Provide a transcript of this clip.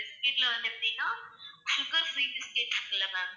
biscuit ல வந்து எப்படின்னா sugar free biscuits இருக்குல்ல ma'am?